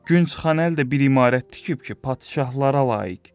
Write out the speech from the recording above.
Gün çıxan əl də bir imarət tikib ki, padşahlara layiq.